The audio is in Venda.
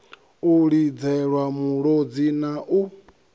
u lidzelwa mulodzi na u